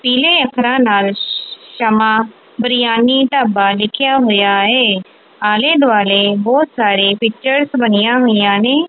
ਪੀਲੇ ਅੱਖਰਾਂ ਨਾਲ ਸ਼ਮਾਂ ਬਿਰਯਾਨੀ ਢਾਬਾ ਲਿਖਿਆ ਹੋਇਆ ਏ ਆਲ਼ੇ ਦੁਆਲੇ ਬਹੁਤ ਸਾਰੇ ਪਿਕਚਰਜ਼ ਬਣੀਆਂ ਹੋਈਆਂ ਨੇਂ।